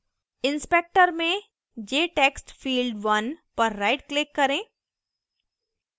inspector में jtextfield1 पर rightclick करें